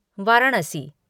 Varanasi